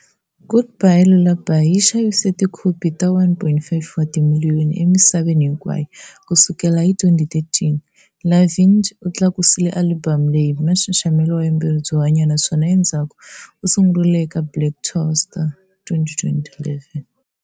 "Goodbye Lullaby" yi xavise tikopi ta 1.5 wa timiliyoni emisaveni hinkwayo ku sukela hi 2013. Lavigne u tlakusile alibamu leyi hi nxaxamelo wa vuyimbeleri byo hanya naswona endzhaku u sungurile eka Black Star Tour, 2011.